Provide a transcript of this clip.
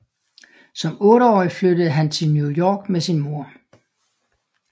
Som otteårig flyttede han til New York med sin mor